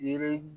Yiri